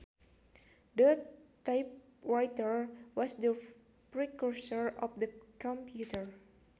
The typewriter was the precursor of the computer